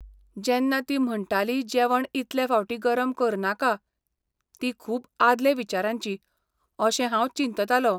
जेन्ना ती म्हणटाली जेवण इतले फावटी गरम करनाका, ती खूब आदले विचारांची अशें हांव चिंततालों.